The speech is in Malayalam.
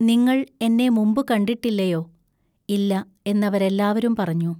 നിങ്ങൾ എന്നെ മുമ്പുകണ്ടിട്ടില്ലയൊ "ഇല്ല എന്നവരെല്ലാവരും പറഞ്ഞു.